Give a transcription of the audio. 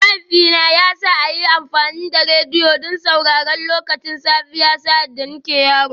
Mahaifina ya sa a yi amfani da rediyo don sauraron kowace safiya sa’ad da nake yaro